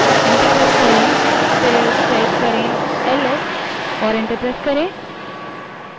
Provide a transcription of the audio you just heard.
उसके बाद ls type करें और enter दबायें